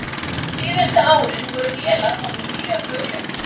Síðustu árin voru vélar honum mjög hugleiknar.